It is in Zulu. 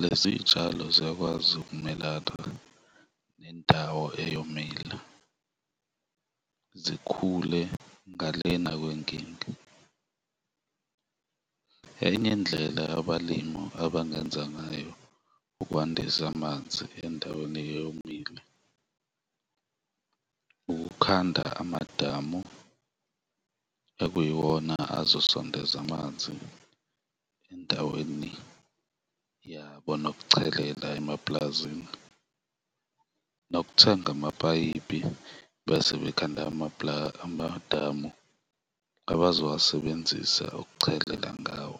lezi zitshalo ziyakwazi ukumelana nendawo eyomile, zikhule ngale na kwenkinga. Enye indlela abalimu abangenza ngayo ukwandisa amanzi endaweni eyomile, ukukhanda amadamu, ekuyiwona azosondeza amanzi endaweni yabo nokuchelela emapulazini nokuthenga amapayipi bese bekhanda amadamu abazowasebenzisa ukuchelela ngawo.